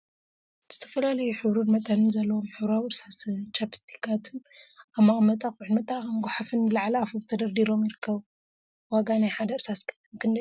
ዝተፈላለዩ ሕብሪን መጠንን ዘለዎም ሕብራዊ እርሳሳን ቻፕስቲካትን አብ መቀመጢ አቁሑን መጠራቀሚ ጎሓፍን ንላዕሊ አፎም ተደርዲሮም ይርከቡ፡፡ ዋጋ ናይ ሓደ እርሳስ ቀለም ክንደይ እዩ?